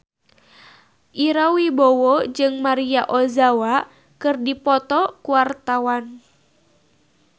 Ira Wibowo jeung Maria Ozawa keur dipoto ku wartawan